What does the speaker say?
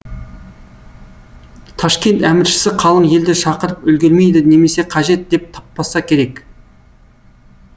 ташкент әміршісі қалың елді шақырып үлгермейді немесе қажет деп таппаса керек